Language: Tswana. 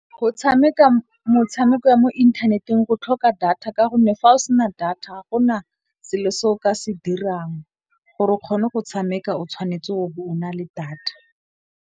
Go tshameka motshameko ya mo inthaneteng go tlhoka data, ka gonne fa o sena data ga gona selo se o ka se dirang. Gore o kgone go tshameka o tshwanetse o be o na le data.